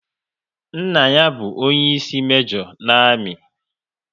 Nna ya bụ onyeisi mejo na amị